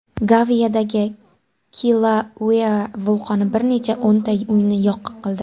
Gavayidagi Kilauea vulqoni bir necha o‘nta uyni yo‘q qildi.